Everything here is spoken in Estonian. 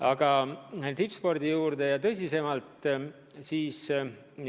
Aga nüüd tippspordi juurde ja tõsisemas toonis.